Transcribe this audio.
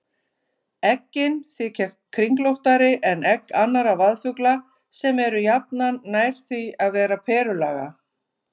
Eggin þykja kringlóttari en egg annarra vaðfugla sem eru jafnan nær því að vera perulaga.